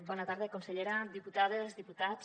bona tarda consellera diputades diputats